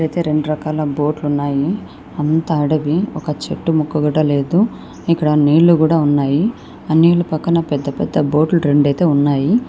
ఇక్కడ అయితే రెండు రకాల బోట్లు ఉన్నాయి. అంతా అడవి. ఒక చెట్టు మొక్క కూడా లేదు. ఎక్కడా నీళ్లు కూడా ఉన్నాయి. ఆ నీళ్లు పక్కన పెద్ద పెద్ద బోట్లు రెండు అయితే ఉన్నాయి.